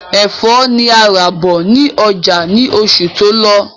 Ẹfọ́ ni a rà bọ̀ ní ọjà ni oṣù tó lọ